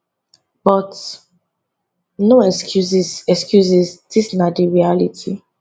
but no excuses excuses dis na di reality